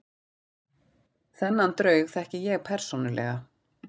Þennan draug þekki ég persónulega.